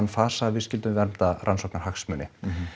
fasa að við skyldum vernda rannsóknarhagsmuni